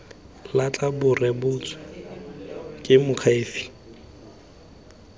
latlha bo rebotswe ke moakhaefe